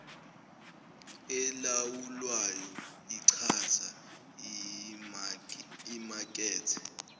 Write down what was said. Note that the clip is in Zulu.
elawulwayo ichaza imakethe